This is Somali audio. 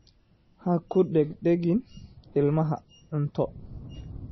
Ha ku degdegin ilmaha cunto.